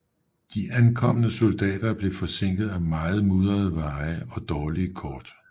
De ankommende soldater blev forsinket af meget mudrede veje og dårlige kort